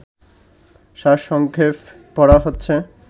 সারসংক্ষেপ পড়া হচ্ছে